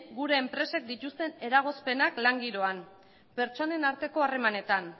gure enpresek dituzten eragozpenak lan giroan pertsonen arteko harremanetan